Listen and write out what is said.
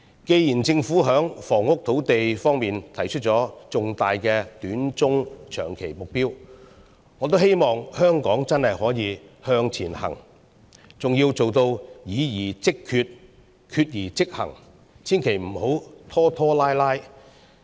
既然政府在房屋土地方面提出了重大的短中長期目標，我也希望香港真的能夠向前行，還要做到議而即決，決而即行，千萬不要拖拖拉拉。